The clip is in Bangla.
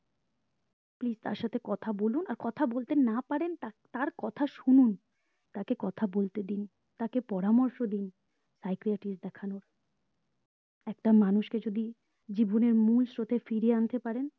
please তার সাথে কথা বলুন আর কথা না বলতে পারেন তার কথা শুনুন তাকে কথা বলতে দিন তাকে পরামর্শ দিন psychiatrist দেখানোর একটা মানুষ কে যদি জীবনের মূল স্রোতে ফিরিয়ে আন্তে পারেন